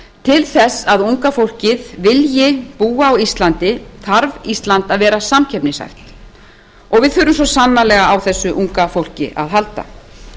til þess að unga fólkið vilji búa á íslandi þarf ísland að vera samkeppnishæft og við þurfum svo sannarlega á þessu unga fólki að halda